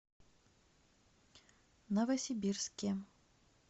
новосибирске